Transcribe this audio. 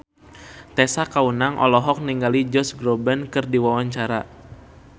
Tessa Kaunang olohok ningali Josh Groban keur diwawancara